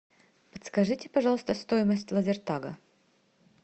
подскажите пожалуйста стоимость лазертага